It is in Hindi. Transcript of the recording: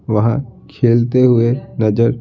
वहां खेलते हुए नजर--